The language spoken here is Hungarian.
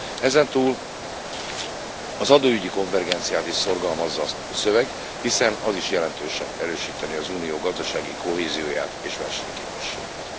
Ezen túl az adóügyi konvergenciát is szorgalmazza a szöveg, hiszen az is jelentősen erősítené az Unió gazdasági kohézióját és versenyképességét.